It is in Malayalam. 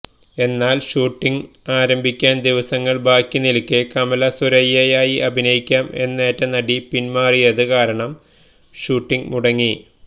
എന്നാല് ഷൂട്ടിങ് ആരംഭിയ്ക്കാന് ദിവസങ്ങള് ബാക്കി നില്ക്കെ കമല സുരയ്യയായി അഭിനയിക്കാം എന്നേറ്റ നടി പിന്മാറിയത് കാരണം ഷൂട്ടിങ് മുടങ്ങി